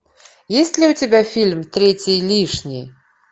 есть ли у тебя фильм третий лишний